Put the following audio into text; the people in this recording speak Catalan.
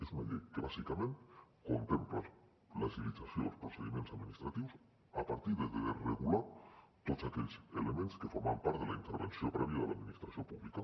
és una llei que bàsicament contempla l’agilització dels procediments administratius a partir de desregular tots aquells elements que formaven part de la intervenció prèvia de l’administració pública